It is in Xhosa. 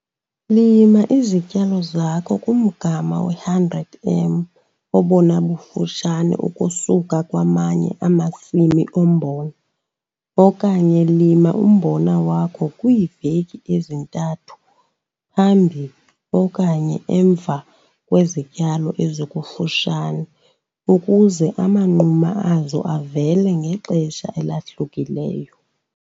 Lima izityalo zakho kumgama we-100 m obona bufutshane ukusuka kwamanye amasimi ombona, okanye lima umbona wakho kwiiveki ezintathu phambi okanye emva kwezityalo ezikufutshane, ukuze amanquma azo avele ngexesha elahlukileyo.